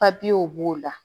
b'o la